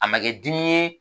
A ma kɛ dimi ye